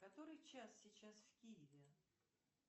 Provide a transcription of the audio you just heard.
который час сейчас в киеве